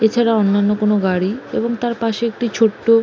এছাড়া অন্যান্য কোনো গাড়ি এবং তার পাশে একটি ছোট্টো--